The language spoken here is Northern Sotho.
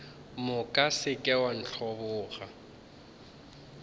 moka se ke wa ntlhoboga